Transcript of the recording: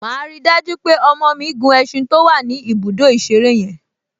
Màá rí i dájú pé ọmọ mi gun ẹṣin to wà ní ibùdó ìṣeré yẹn